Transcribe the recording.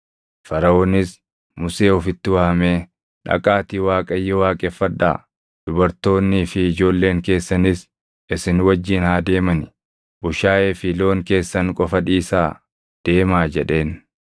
Faraʼoonis Musee ofitti waamee, “Dhaqaatii Waaqayyo waaqeffadhaa. Dubartoonnii fi ijoolleen keessanis isin wajjin haa deemani; bushaayee fi loon keessan qofa dhiisaa deemaa” jedheen.